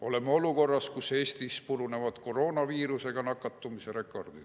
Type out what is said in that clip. "Oleme olukorras, kus Eestis purunevad uued koroonaviirusega nakatumise rekordid.